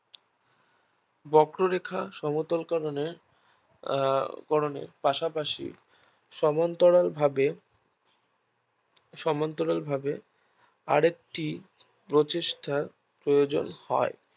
বক্র রেখা সমতল করণের আহ করণে পাশাপাশি সমান্তরাল ভাবে সমান্তরালভাবে আরেকটি প্রচেষ্টার প্রয়োজন হয়